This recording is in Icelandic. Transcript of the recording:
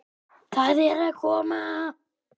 Það er að koma!